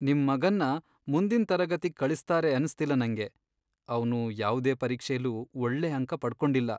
ನಿಮ್ ಮಗನ್ನ ಮುಂದಿನ್ ತರಗತಿಗ್ ಕಳಿಸ್ತಾರೆ ಅನ್ಸ್ತಿಲ್ಲ ನಂಗೆ. ಅವ್ನು ಯಾವ್ದೇ ಪರೀಕ್ಷೆಲೂ ಒಳ್ಳೆ ಅಂಕ ಪಡ್ಕೊಂಡಿಲ್ಲ.